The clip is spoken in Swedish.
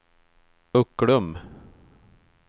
Ucklum